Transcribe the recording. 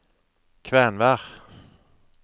Kvenvær